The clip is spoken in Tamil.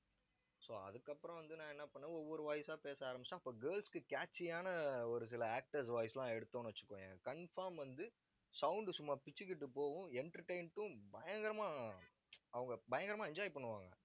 so அதுக்கப்புறம் வந்து, நான் என்ன பண்ணேன் ஒவ்வொரு voice ஆ பேச ஆரம்பிச்சேன். அப்ப girls க்கு catchy யான ஒரு சில actors voice எல்லாம் எடுத்தோம்னு வச்சுகோயேன் confirm வந்து, sound சும்மா பிச்சுக்கிட்டுப் போகும் entertain ட்டும் பயங்கரமா அவங்க பயங்கரமா enjoy பண்ணுவாங்க